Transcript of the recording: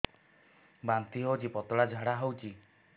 ବାନ୍ତି ହଉଚି ପତଳା ଝାଡା ହଉଚି